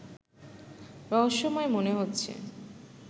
রহস্যময় মনে হচ্ছে